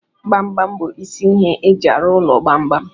Gbam gbam bụ isi ihe e ji arụ ụlọ gbam gbam.